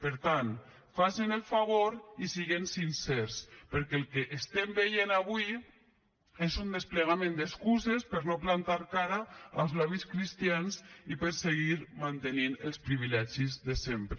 per tant facin el favor i siguen sincers perquè el que estem veient avui és un desplegament d’excuses per no plantar cara als lobbys cristians i per seguir mantenint els privilegis de sempre